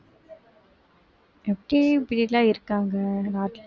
எப்படி இப்படிலாம் இருக்காங்க நாட்டுல